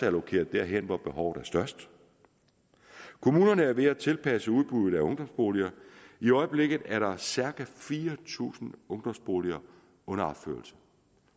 allokeret derhen hvor behovet er størst kommunerne er ved at tilpasse udbuddet af ungdomsboliger i øjeblikket er der cirka fire tusind ungdomsboliger under opførelse